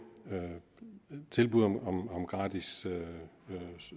tilbud om gratis